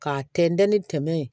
K'a tɛntɛn ni tɛmɛ yen